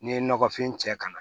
N'i ye nɔgɔfin cɛ ka na